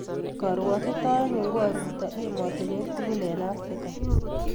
Karwotitoenyu ko aruto emotinweek tugul eng Africa.